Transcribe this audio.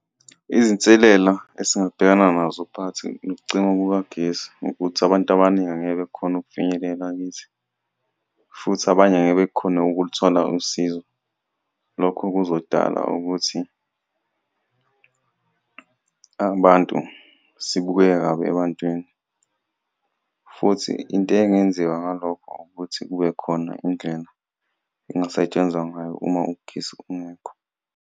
Izinselela esingabhekana nazo phakathi nokucima kukagesi ukuthi abantu abaningi angeke bekhone ukufinyelela kithi, futhi abanye angeke bekhone ukuluthola usizo. Lokho kuzodala ukuthi abantu, sibukeke kabi ebantwini, futhi into engenziwa ngalokho ukuthi kube khona indlela engasetshenzwa ngayo uma ugesi ungekho.